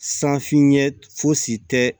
San finɲɛ fosi tɛ